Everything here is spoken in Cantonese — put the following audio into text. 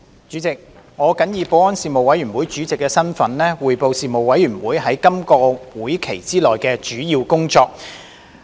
主席，我謹以保安事務委員會主席的身份，匯報事務委員會在今個會期內的主要工作。